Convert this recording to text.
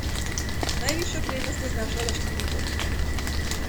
Najvišja prednost je znašla štiri točke.